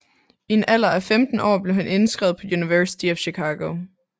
I en alder af 15 år blev han indskrevet på University of Chicago